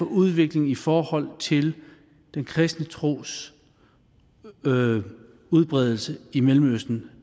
udviklingen i forhold til den kristne tros udbredelse i mellemøsten